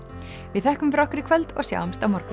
við þökkum fyrir okkur í kvöld og sjáumst á morgun